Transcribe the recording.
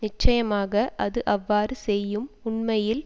நிச்சயமாக அது அவ்வாறு செய்யும் உண்மையில்